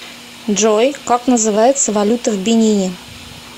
джой как называется валюта в бенине